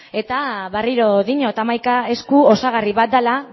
eta berriro diot hamaika esku osagarri bat dela